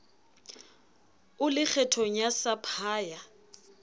o le kgethong ya sapphire